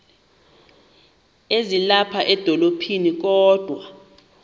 ezilapha edolophini kodwa